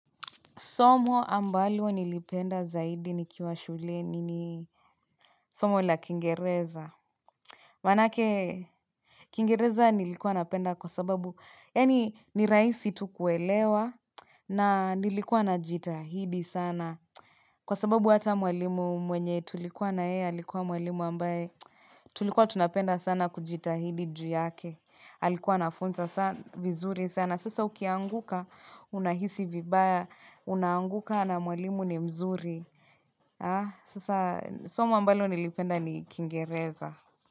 Somo ambalo nilipenda zaidi nikiwa shuleni ni somo la kingereza. Manake kingereza nilikuwa napenda kwa sababu. Yaani ni rahisi tu kuelewa na nilikuwa na jitahidi sana. Kwa sababu hata mwalimu mwenye tulikuwa na yeye. Alikuwa mwalimu ambaye tulikuwa tunapenda sana kujitahidi juu yake. Alikuwa anafunza sa vizuri sana. Sasa ukianguka unahisi vibaya. Unaanguka na mwalimu ni mzuri sasa somo ambalo nilipenda ni kingereza.